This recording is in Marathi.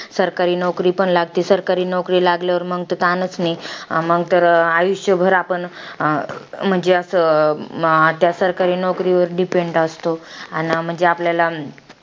माझ्या आजोबांच्या वंशजानी माझ्या आजोबांना शेतात कष्ट आणि काम करण्याची शिकवले.